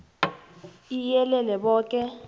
iii iyelele boke